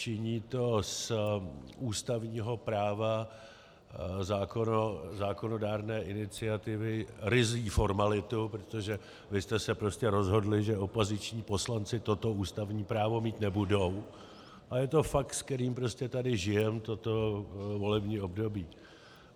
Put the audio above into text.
Činí to z ústavního práva zákonodárné iniciativy ryzí formalitu, protože vy jste se prostě rozhodli, že opoziční poslanci toto ústavní právo mít nebudou, a je to fakt, se kterým prostě tady žijeme toto volební období.